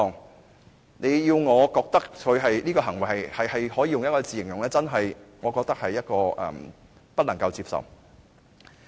如果你要我用一個詞語來形容他的行為，我認為是真的不能接受。